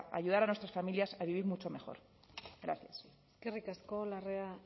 ayudar a nuestras familias a vivir mucho mejor gracias eskerrik asko larrea